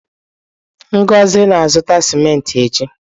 Ngozi na-azụta cimenti echi.